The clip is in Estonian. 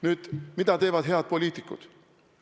Nüüd, mida teevad head poliitikud?